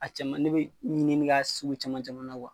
A caman ne be ɲinini k'a sugu caman caman na .